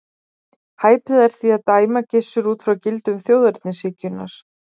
Hæpið er því að dæma Gissur út frá gildum þjóðernishyggjunnar.